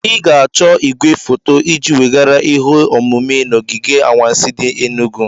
Ị ga-achọ igwefoto iji weghara ihe omume na ogige anwansi di enugu.